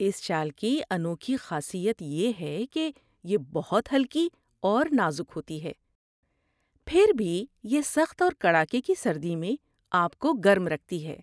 اس شال کی انوکھی خاصیت یہ ہے کہ یہ بہت ہلکی اور نازک ہوتی ہے، پھر بھی یہ سخت اور کڑاکے کی سردی میں آپ کو گرم رکھتی ہے۔